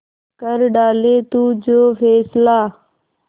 कर डाले तू जो फैसला